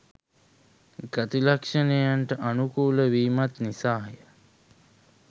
ගති ලක්ෂණයනට අනුකූල වීමත් නිසා ය.